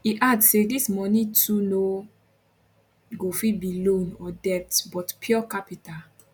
e add say dis moni too no go fit be loan or debts but pure capital